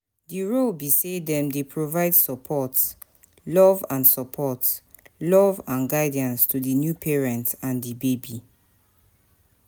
di role be say dem dey provide support, love and support, love and guidance to di new parents and di baby.